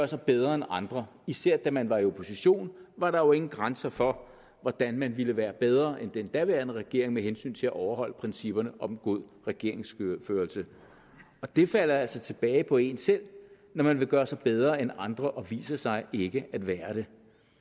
sig bedre end andre især da man var i opposition var der jo ingen grænser for hvordan man ville være bedre end den daværende regering med hensyn til at overholde principperne om god regeringsførelse og det falder altså tilbage på en selv når man vil gøre sig bedre end andre og viser sig ikke at være det